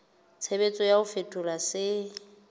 tshebetso ya ho fetola se